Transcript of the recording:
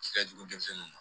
Fɛnjugu denmisɛnninw